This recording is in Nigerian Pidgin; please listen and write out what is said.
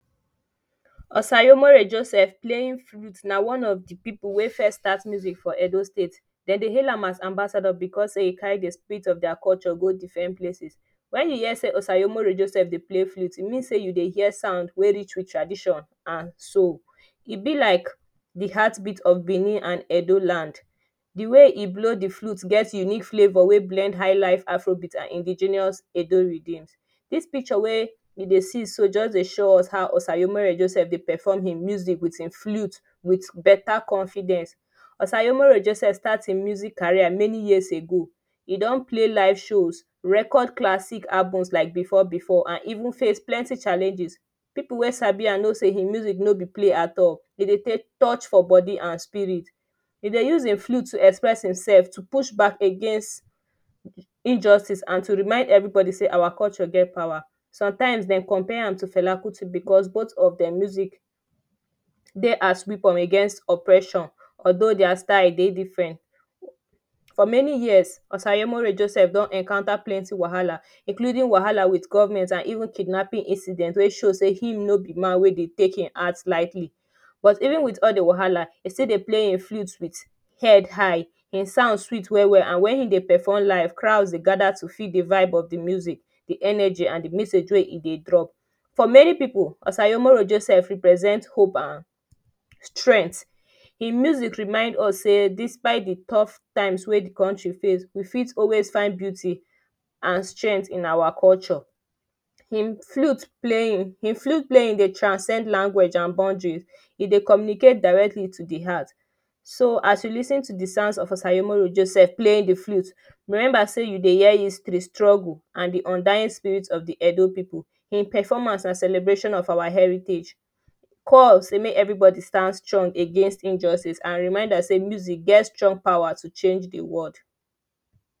Osaremore Joseph playing flust Na one of the people wey first start music for Edo state They dey hail am as ambassador because sey e carry the spirit of their culture go different places. When e hear say Osaremore Joseph dey play fruit, e mean say you dey hear sound wey dey rich with tradition and soul. E be like the heart beat of Benin and Edo land. The way e blow the flute get unique flavpur wey blend high life afro beat and indigenous Edo rhythm This picture wey e dey see so just dey show us how Osaremore Joseph dey perform him music with him flute with better confidence. Osaremore Joseph start him music career many years ago. E don play live shows, record classic album like before before and even face plenty challenges people wey sabi am know say him music no be play at all. Dem dey touch for body and spirit. E dey use him flute express himself to push back against injustice and to remind everybody say our culture get power Sometimes Dem compare am to Fela Kuti because both of them music dey as weapon against oppression although their style dey different For many years Osaremore Joseph don encounter plenty wahala including wahala with government even kidnapping incident wey show say him no be man we dey take him art likely but even with all the wahala, e still dey play him flute with head high. Him sounds sweet well well and when e dey perform live crowds dey gather to feel the vibe of the music,, the energy and the message wey e dey drop. For many people, Osaremore Joseph represent Hope and strength Him music remind us sey despite the tough times wey the country face, we fit always find beauty and strength in our culture. Him flute play him flute play in a transcend language and foundry. E dey communicate directly to the heart so as you lis ten to the sounds of Osaremore Joseph play the flute, remember say you dey hear history, struggle, and the undying spirit of the Edo people In performance and celebration of our heritage call sey make everybody stand strong against injustice and remind ourselves say music get strong powers to change the world.